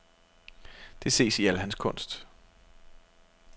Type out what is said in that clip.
Det ses i al hans kunst.